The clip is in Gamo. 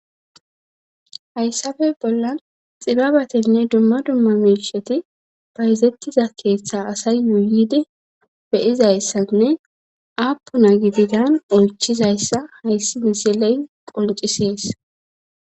hayssafe bollan xibabatenne dumma dumma miisheti bayzettiza keeththa asay yuuyide be'izayssanne apuna gididan oychizayssa hayssi misiley qoncisees